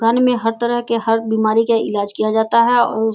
दुकान में हर तरह के हर बीमारी का इलाज किया जाता है।